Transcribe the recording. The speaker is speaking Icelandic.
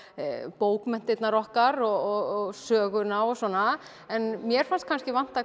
bókmenntirnar okkar og söguna og svona en mér fannst kannski vanta